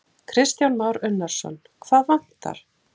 Kristján Már Unnarsson: Hvað vantar?